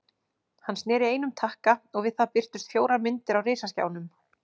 Hann sneri einum takka og við það birtust fjórar myndir á risaskjánum.